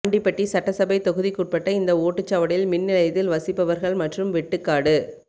ஆண்டிபட்டி சட்டசபை தொகுதிக்குட்பட்ட இந்த ஓட்டுச்சாவடியில் மின்நிலையத்தில் வசிப்பவர்கள் மற்றும் வெட்டுக்காடு